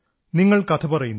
നിങ്ങൾ കഥ പറയുന്നു